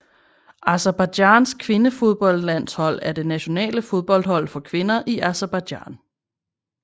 Aserbajdsjans kvindefodboldlandshold er det nationale fodboldhold for kvinder i Aserbajdsjan